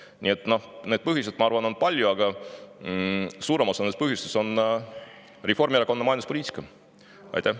Nii et neid põhjuseid, ma arvan, on palju, aga suurem osa nendest tuleneb Reformierakonna majanduspoliitikast.